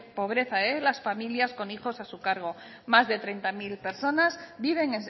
pobreza en las familias con hijos a su cargo más de treinta mil personas viven